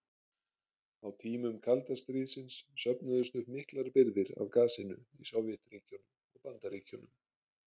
Á tímum kalda stríðsins söfnuðust upp miklar birgðir af gasinu í Sovétríkjunum og Bandaríkjunum.